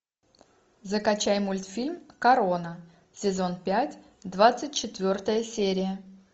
закачай мультфильм корона сезон пять двадцать четвертая серия